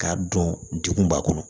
K'a dɔn degun b'a kɔnɔ